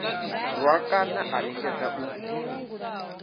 rwa kana a lingedza u